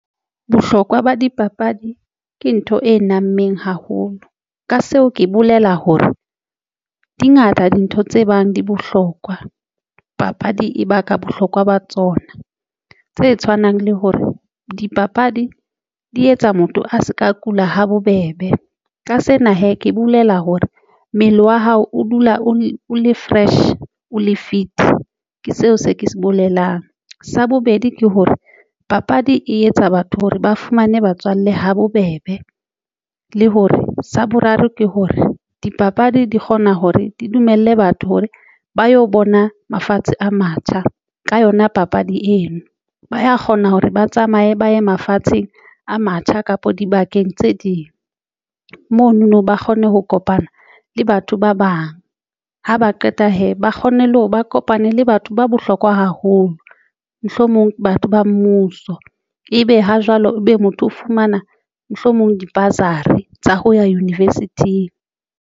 Bohlokwa ba dipapadi ke ntho e nameng haholo ka seo ke bolela hore dingata dintho tse bang di bohlokwa. Papadi e baka bohlokwa ba tsona tse tshwanang le hore dipapadi di etsa motho a se ka kula ha bobebe ka sena hee ke bolela hore mmele wa hao o dula o le fresh o le fit, ke seo se ke se bolelang. Sa bobedi ke hore papadi e etsa batho hore ba fumane batswalle ha bobebe, le hore sa boraro ke hore dipapadi di kgona hore di dumelle batho hore ba yo bona mafatshe a matjha ka yona. Papadi eno ba ya kgona hore ba tsamaye ba ye mafatsheng a matjha kapa dibakeng tse ding. Mono no ba kgone ho kopana le batho ba bang ha ba qeta hee ba kgone le hore ba kopane le batho ba bohlokwa haholo mohlomong batho ba mmuso, ebe ha jwale ebe motho o fumana mohlomong di-bursary tsa ho ya university-ng.